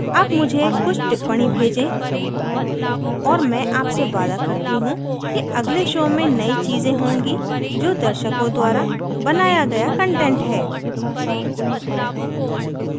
अब मुझे कुछ टिप्पणी भेजें और मैं आपसे वादा करती हूँ कि अगले show में नयी चीज़ें होंगी जो दर्शकों द्वारा बनाया गया कंटेंट हैं